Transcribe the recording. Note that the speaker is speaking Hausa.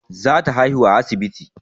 Za ta haihu a asibiti